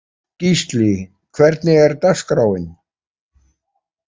Gísli, hvernig er dagskráin?